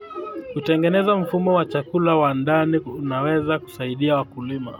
Kutengeneza mfumo wa chakula wa ndani kunaweza kusaidia wakulima.